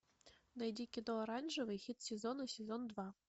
найди кино оранжевый хит сезона сезон два